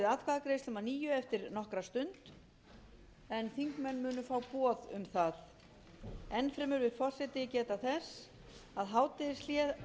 atkvæðagreiðslum að nýju eftir nokkra stund þingmenn munu fá boð um það enn fremur vill forseti geta þess að hádegishlé verður